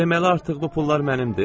"Deməli artıq bu pullar mənimdir?"